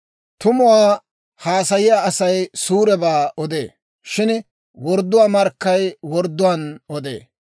Tumuwaa haasayiyaa Asay suurebaa odee; shin wordduwaa markkay wordduwaan odee.